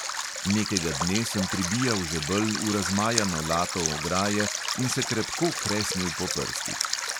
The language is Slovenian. Nekega dne sem pribijal žebelj v razmajano lato ograje in se krepko kresnil po prstih.